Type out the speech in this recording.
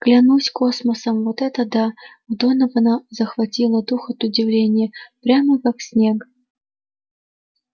клянусь космосом вот это да у донована захватило дух от удивления прямо как снег